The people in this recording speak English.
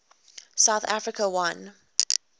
south africa won